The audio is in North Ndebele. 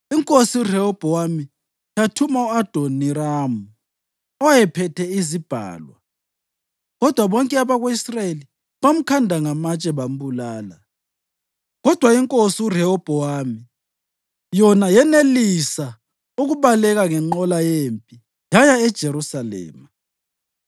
INkosi uRehobhowami yathuma u-Adoniramu, owayephethe izibhalwa, kodwa bonke abako-Israyeli bamkhanda ngamatshe bambulala. Kodwa iNkosi uRehobhowami, yona yenelisa ukubaleka ngenqola yempi yaya eJerusalema.